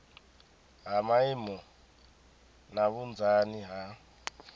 ha maimo na vhunzani ha